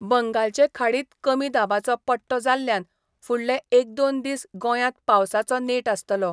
बंगालचे खाडींत कमी दाबाचो पट्टो जाल्ल्यान फुडले एक दोन दिस गोंयात पावसाचो नेट आसतलो.